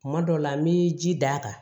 Kuma dɔw la n bɛ ji d'a kan